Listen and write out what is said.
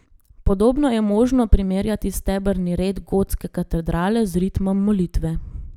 Podobno je možno primerjati stebrni red gotske katedrale z ritmom molitve.